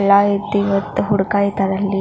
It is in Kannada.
ಲೈಟ್ ಇವತ್ತು ಅಲ್ಲಿ.